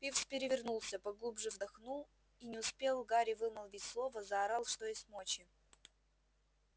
пивз перевернулся поглубже вдохнул и не успел гарри вымолвить слова заорал что есть мочи